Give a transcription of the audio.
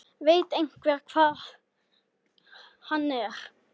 Veit einhver hvar hann er?